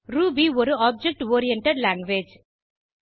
Ruby ஒரு object oriented language